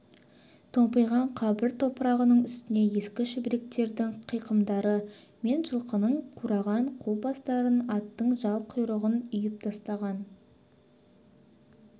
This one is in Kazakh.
томпиған қабір топырағының үстіне ескі шүберектердің қиқымдары мен жылқының қуарған қу бастарын аттың жал құйрығын үйіп тастаған